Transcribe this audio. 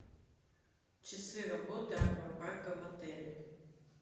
часы работы аквапарка в отеле